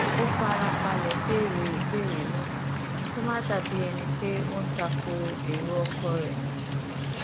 ó fara balè béèrè ìbéèrè náà kó má bàa dà bí ẹni pé ó ń ta ko èrò ọkọ rè